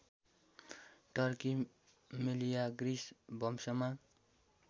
Turkey Meleagris वंशमा